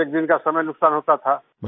एकएक दिन का समय नुकसान होता था